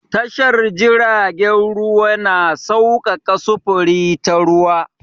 Tashar jiragen ruwa na saukaka sufuri ta ruwa.